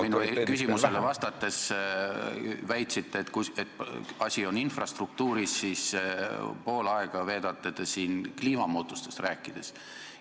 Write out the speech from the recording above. Ja kui te minu küsimusele vastates väitsite, et asi on infrastruktuuris, siis pool aega veedate te siin kliimamuutustest rääkides.